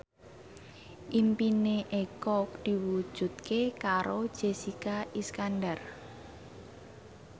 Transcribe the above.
impine Eko diwujudke karo Jessica Iskandar